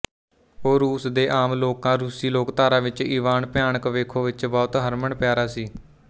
ਉਹ ਰੂਸ ਦੇ ਆਮ ਲੋਕਾਂ ਰੂਸੀ ਲੋਕਧਾਰਾ ਵਿੱਚ ਇਵਾਨ ਭਿਆਨਕ ਵੇਖੋ ਵਿੱਚ ਬਹੁਤ ਹਰਮਨਪਿਆਰਾ ਸੀ